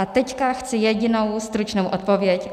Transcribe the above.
A teď chci jedinou stručnou odpověď.